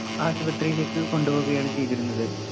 ആശുപത്രിയിലേക്ക് കൊണ്ടുപോകയാണ് ചെയ്തിരുന്നത്.